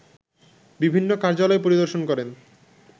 বিভিন্ন কার্যালয় পরিদর্শন করেন